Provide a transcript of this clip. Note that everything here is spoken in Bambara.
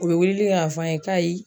O be weleli kɛ k'a fɔ an ye k'ayi